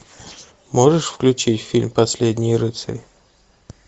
можешь включить фильм последний рыцарь